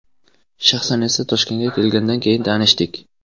Shaxsan esa, Toshkentga kelganidan keyin tanishdik.